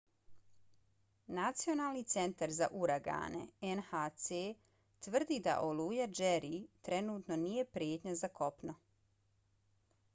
nacionalni centar za uragane nhc tvrdi da oluja jerry trenutno nije prijetnja za kopno